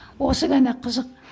осы ғана қызық